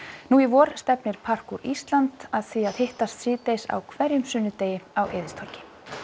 nú í vor stefnir Ísland að því að hittast síðdegis á hverjum sunnudegi á Eiðistorgi